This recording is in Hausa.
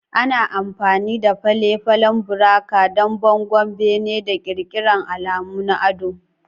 Ana amfani da fale-falen buraka don bangon bene, da ƙirƙirar alamu na ado.